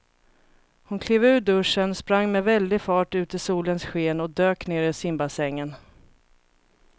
Hon klev ur duschen, sprang med väldig fart ut i solens sken och dök ner i simbassängen.